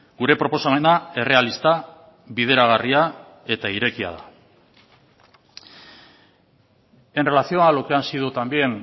gure proposamena errealista bideragarria eta irekia da en relación a lo que han sido también